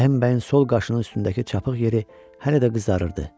Rəhim bəyin sol qaşının üstündəki çapıq yeri hələ də qızarırdı.